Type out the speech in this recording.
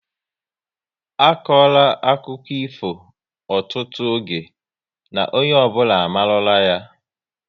A kora akụkọ ifo ọtụtụ oge na onye ọbụla amarula ya